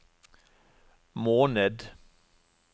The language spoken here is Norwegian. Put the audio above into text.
måned